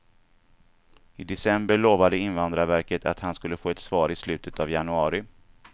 I december lovade invandrarverket att han skulle få ett svar i slutet av januari.